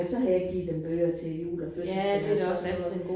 Og så har jeg givet dem bøger til jul og fødselsdage og sådan noget